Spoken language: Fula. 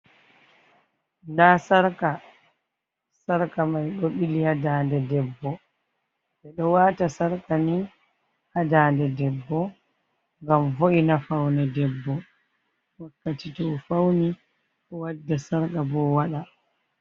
Nda sarka sarka mai do ɓili ha ndande debbo ɓeɗo wata sarka ni ha ndande debbo ngam vo’i na faune debbo wakkati to fauni o wadda sarka bo o waɗa.